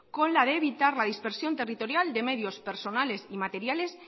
con la de evitar la dispersión territorial de medios personales y materiales